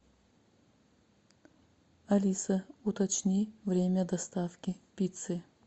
алиса уточни время доставки пиццы